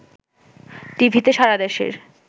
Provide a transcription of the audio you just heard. টিভিতে সারাদেশের